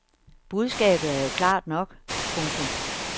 Budskabet er jo klart nok. punktum